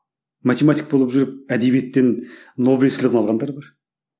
математик болып жүріп әдебиеттен нобель сыйлығын алғандар бар